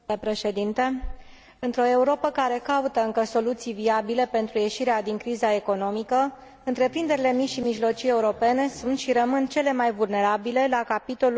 Într o Europă care caută încă soluții viabile pentru ieșirea din criza economică, întreprinderile mici și mijlocii europene sunt și rămân cele mai vulnerabile la capitolul acces la finanțare.